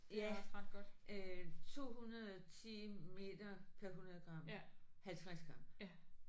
Ja øh 210 meter per 100 gram. 50 gram